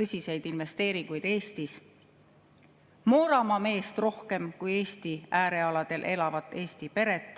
tõsiseid investeeringuid Eestis, Mooramaa meest rohkem kui Eesti äärealal elavat eesti peret.